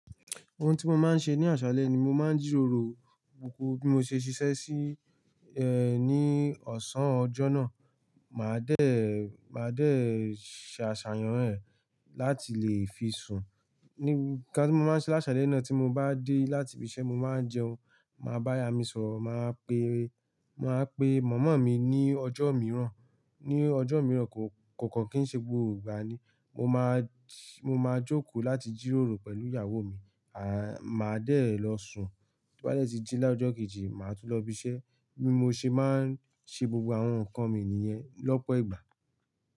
Ohun tí mo máa ń ṣe ní àṣálẹ́ ni mo máa ń jíròrò gbogbo bí mo ṣe ṣiṣẹ́ sí, ẹ, ní ọ̀sán ọjọ́ náà. Màá dé, màá dé ṣàṣàyàn rẹ̀ láti lè fi sùn. Ní ǹkan tí mo máa ń ṣe láṣálẹ́ náà tí mo bá dé láti ibi iṣẹ́, mo máa n jẹun, màá bá ara mi sọ̀rọ̀, màá pe, màá pe mọ̀mọ́ mi ní ọjọ́ mìíràn, ní ọjọ́ mìíràn kò, kò kàn kí ń ṣe gbogbo ìgbà ni. Mo máa, mo máa jókòó láti jíròrò pẹ̀lú ìyàwó mi. À, màá dé lọ sùn. Ri n ba de ti jí láàrọ̀ ọjọ́ kejì, màá tún lọ ibi iṣẹ́. Bí mo ṣe máa ń ṣe gbogbo àwọn ǹkan mi nìyẹn lọ́pọ̀ ìgbà.